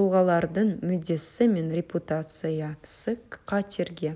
тұлғалардың мүддесі мен репутациясы қатерге